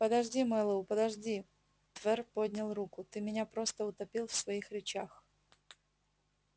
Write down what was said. подожди мэллоу подожди твер поднял руку ты меня просто утопил в своих речах